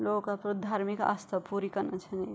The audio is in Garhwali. लोग अपुर धार्मिक आस्था पूरी कना छन ये।